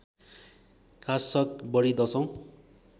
काशग बढी दशौँ